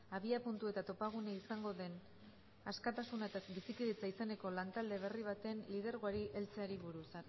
abiapuntu eta topagunea izango den askatasuna eta bizikidetza izeneko lantalde berri baten lidergoari heltzeari buruz